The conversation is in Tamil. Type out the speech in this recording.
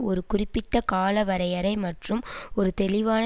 ஒரு குறிப்பிட்ட கால வரையறை மற்றும் ஒரு தெளிவான